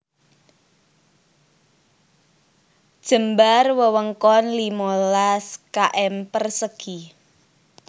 Jembar wewengkon limolas km persegi